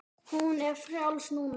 Hún er frjáls núna.